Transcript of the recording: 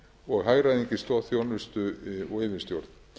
hagræðingu í stoðþjónustu og yfirstjórn